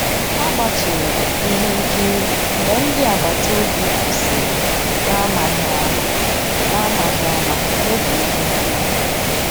Àgbátụ̀rụ̀ m ihe nkírí mgbé ndị́ àgbàtà òbí kwụ́sị́rí n'àmàghị́ àmá n'àmàghị́ àmá n'ògé íhé nkírí.